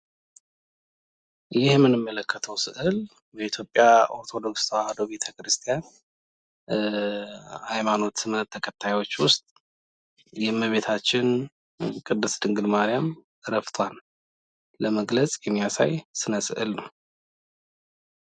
ይሄ የምንመለከተው ስእል በኢትዮጵያ ኦርቶዶክስ ቤተ-ክርስቲያን ሀይማኖት እምነት ተከታዮች ውስጥ የእመቤታችን ቅድስት ድንግል ማርያም እረፍቷ ለመግለጽ የሚያሳይ ስነ-ስእል ነው።